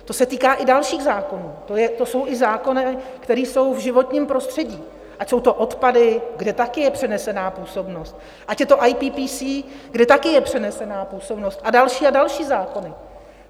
To se týká i dalších zákonů, to jsou i zákony, které jsou v životním prostředí, ať jsou to odpady, kde také je přenesená působnost, ať je to IPPC, kde taky je přenesená působnost, a další a další zákony.